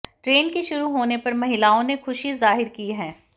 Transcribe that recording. train के शुरू होने पर महिलाओं ने खुशी जाहिर की है